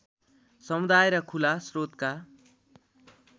समुदाय र खुला स्रोतका